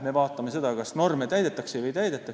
Me vaatame seda, kas norme täidetakse või ei täideta.